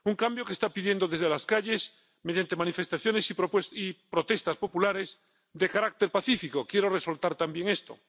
un cambio que está pidiendo desde las calles, mediante manifestaciones y protestas populares de carácter pacífico, quiero resaltar también esto.